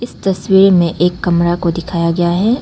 तस्वीर में एक कमरा को दिखाया गया है।